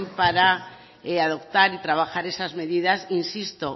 para adoptar y trabajar esas medidas insisto